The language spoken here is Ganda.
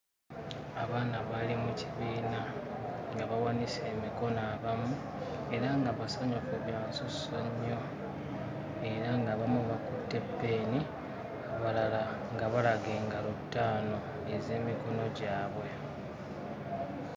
Abaana baali mu kibiina nga bawanise emikono abamu era nga basanyufu bya nsusso nnyo era ng'abamu bakutte ppeeni abalala nga balaga engalo ttaano ez'emikono gyabwe.